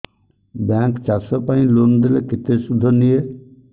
bank ଚାଷ ପାଇଁ loan ଦେଲେ କେତେ ସୁଧ ନିଏ